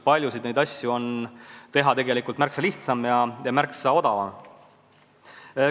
Paljusid neid meetmeid on nüüd märksa lihtsam ja märksa odavam rakendada.